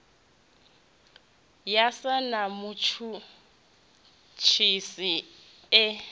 ya sa na mutshutshisi e